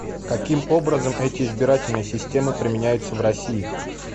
каким образом эти избирательные системы применяются в россии